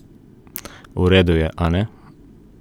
V redu je, a ne?